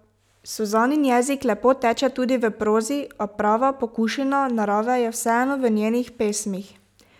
Suzanin jezik lepo teče tudi v prozi, a prava pokušina narave je vseeno v njenih pesmih.